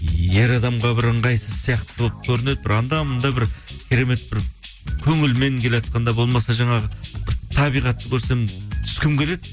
ер адамға бір ыңғайсыз сияқты болып көрінеді бір анда мында бір керемет бір көңілмен келатқанда болмаса жаңағы бір табиғатты көрсем түскім келеді